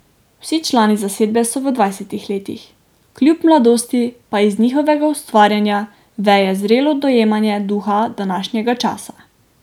Vsi člani zasedbe so v dvajsetih letih, kljub mladosti pa iz njihovega ustvarjanja veje zrelo dojemanje duha današnjega časa.